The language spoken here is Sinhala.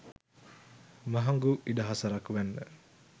මහඟු ඉඩහසරක් වැන්න.